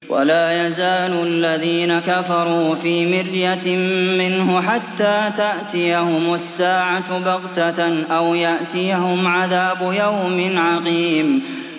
وَلَا يَزَالُ الَّذِينَ كَفَرُوا فِي مِرْيَةٍ مِّنْهُ حَتَّىٰ تَأْتِيَهُمُ السَّاعَةُ بَغْتَةً أَوْ يَأْتِيَهُمْ عَذَابُ يَوْمٍ عَقِيمٍ